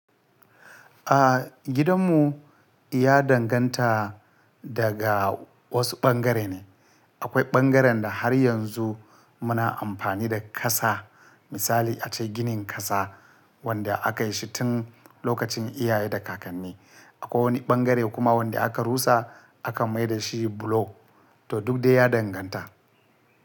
A gidanmu ya danganta daga wasu ɓangare ne. Akwai ɓangaren da har yanzu muna amfani da ƙasa. Misali ace ginin ƙasa wanda aka yi shi tun lokacin iyaye da kakanni. Akwai wani ɓangare kuma wanda aka rusa aka mai da shi bulo. To duk de ya danganta.